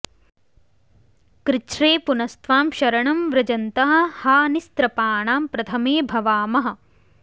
कृच्छ्रे पुनस्त्वां शरणं व्रजन्तः हा निस्त्रपाणां प्रथमे भवामः